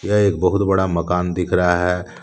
यह एक बहुत बड़ा मकान दिख रहा है।